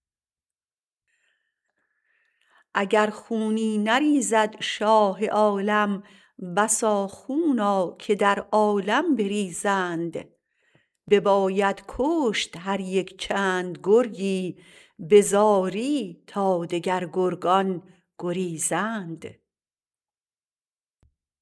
اگر خونی نریزد شاه عالم بسا خونا که در عالم بریزند بباید کشت هر یکچند گرگی به زاری تا دگر گرگان گریزند